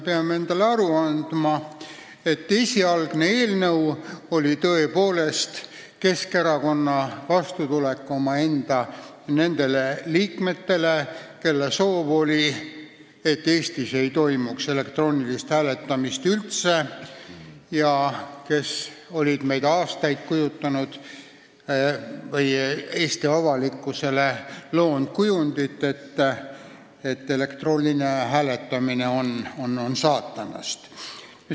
Esialgne eelnõu oli Keskerakonna vastutulek nendele omaenda liikmetele, kelle soov oli, et Eestis ei toimuks üldse elektroonilist hääletamist, ja kes olid aastaid Eesti avalikkusele loonud kujundit, et elektrooniline hääletamine on saatanast.